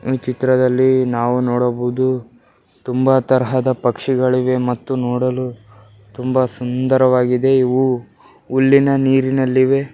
ಈ ಚಿತ್ರದಲ್ಲಿ ನಾವು ನೋಡಬಹುದು ತುಂಬಾ ತರಹದ ಪಕ್ಷಿಗಳಿವೆ ಮತ್ತು ನೋಡಲು ತುಂಬ ಸುಂದರವಾಗಿದೆ ಇವು ಉಲ್ಲೆನ ನೀರಿನಲಿ ಇವೆ .